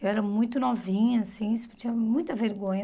Eu era muito novinha assim, sentia muita vergonha.